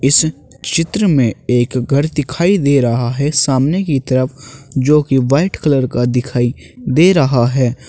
इस चित्र में एक घर दिखाई दे रहा है सामने की तरफ जो की वाइट कलर का दिखाई दे रहा है।